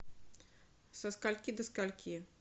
со скольки до скольки